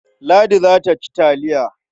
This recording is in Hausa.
Ladi za ta ci taliya.